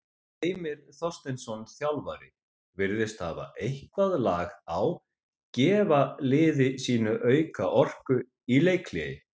Heimir Þorsteinsson, þjálfari virðist hafa eitthvað lag á gefa liði sínu auka orku í leikhléi.